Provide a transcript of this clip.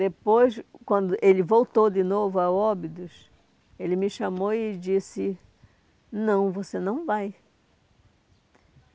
Depois, quando ele voltou de novo a Óbidos, ele me chamou e disse, não, você não vai.